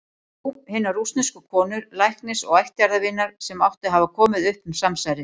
Jú- hinnar rússnesku konu, læknis og ættjarðarvinar, sem átti að hafa komið upp um samsærið.